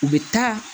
U bɛ taa